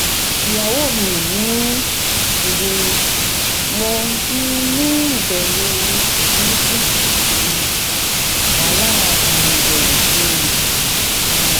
iyawo mi o ni oye mo um ni iberu buruku um wahala irewesi um